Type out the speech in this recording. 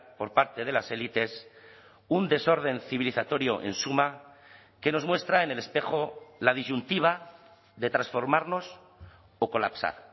por parte de las élites un desorden civilizatorio en suma que nos muestra en el espejo la disyuntiva de transformarnos o colapsar